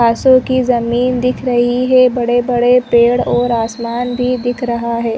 खासो की जमीन दिख रही है बड़े - बड़े पेड़ और आसमान भी दिख रहा है।